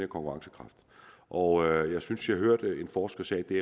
konkurrencekraft og jeg synes jeg hørte en forsker sige at det